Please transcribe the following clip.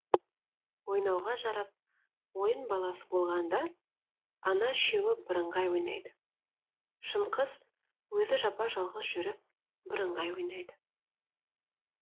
ойнауға жарап ойын баласы болғанда ана үшеуі бірыңғай ойнайды шынқыз өзі жапа жалғыз жүріп бірыңғай ойнайды